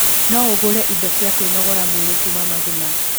No ũgũre indo cia kwĩnogora mwîrî kuuma Maguna.